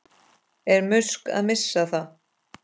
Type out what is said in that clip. Er Musk að missa það?